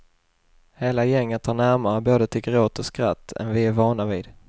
Hela gänget har närmare både till gråt och skratt än vi är vana vid.